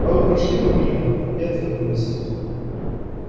а вы прошли бы мимо и отвернулись